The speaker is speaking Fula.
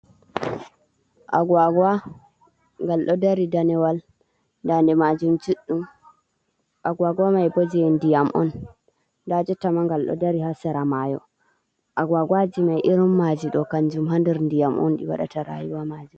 Agagwa ngal ɗo dari danewal dande manjum juɗɗum, Agwagwa mai bo je ndiyam on. Nda jottama ngal ɗo dari ha sera mayo. Agwagawaji mai irin maji ɗo kanjum ha nder ndiyam on ɗi waɗata rayuwa maji